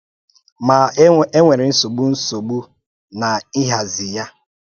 Ma, ènwèrè́ nsogbu nsogbu n’ịhàzí ya